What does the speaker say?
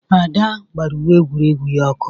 Ada gbara uwe egwuregwu ya ọkụ.